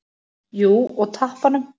Jú, og tappanum.